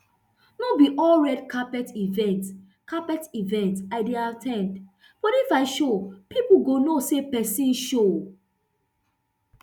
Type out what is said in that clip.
no be all red carpet events carpet events i dey at ten d but if i show pipo go no know say pesin show